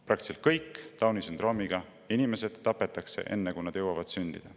Praktiliselt kõik Downi sündroomiga inimesed tapetakse enne, kui nad jõuavad sündida.